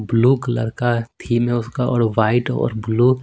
Blue colour का theme हैउसका और वाइट और ब्लू .